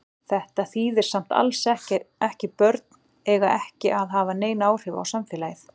Þetta þýðir samt alls ekki börn eiga ekki að hafa nein áhrif á samfélagið.